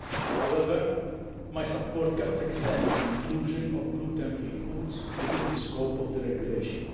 However, my support cannot extend to the inclusion of gluten free foods within the scope of the regulation.